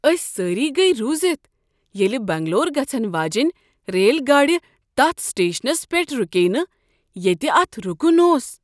اسۍ سٲری گیہ رُوزتھ یییٚلہ بنگلور گژھن واجیٚنۍ ریل گاڑی تتھ سٹیشنس پیٹھ رکییہ نہٕ ییٚتہ اتھ رکن اوس۔